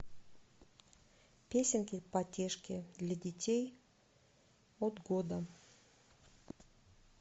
песенки потешки для детей от года